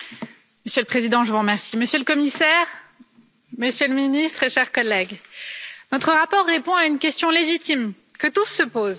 Monsieur le Président, Monsieur le Commissaire, Monsieur le Ministre, chers collègues, notre rapport répond à une question légitime que tous se posent.